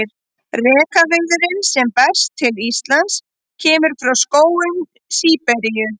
Rekaviðurinn sem berst til Íslands kemur frá skógum Síberíu.